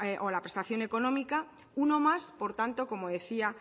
o a la prestación económica uno más por tanto como decía